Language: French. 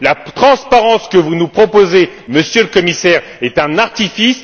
La transparence que vous nous proposez, Monsieur le Commissaire, est un artifice.